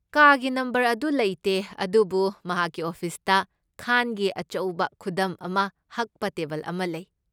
ꯀꯥꯒꯤ ꯅꯝꯕꯔ ꯑꯗꯨ ꯂꯩꯇꯦ, ꯑꯗꯨꯕꯨ ꯃꯍꯥꯛꯀꯤ ꯑꯣꯐꯤꯁꯇ ꯈꯥꯟꯒꯤ ꯑꯆꯧꯕ ꯈꯨꯗꯝ ꯑꯃ ꯍꯛꯄ ꯇꯦꯕꯜ ꯑꯃ ꯂꯩ꯫